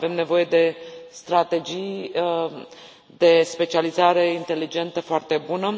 Avem nevoie de strategii de specializare inteligentă foarte bună.